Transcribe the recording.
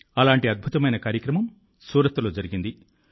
అలాంటి అద్భుతమైన కార్యక్రమం సూరత్లో జరిగింది